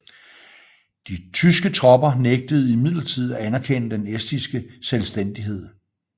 De tyske tropper nægtede imidlertid at anerkende den estiske selvstændighed